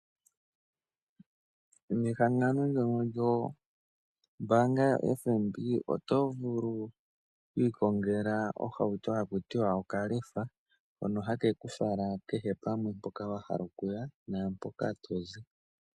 Nehangano ndyoono lyombaanga yoFNB oto vulu oku ikongela ohauto gaku ti wa okalefa hono hake ku fala kehe pamwe mpoka to vulu okuya naa mpoka to zi.